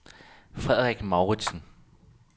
Frederik Mouritsen